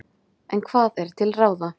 En hvað er til ráða?